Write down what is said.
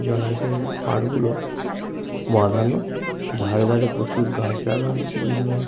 জলাশয়ের পার গুলো বাঁধানো ধারে ধারে প্রচুর গাছ লাগা আছে। বিভিন্ন--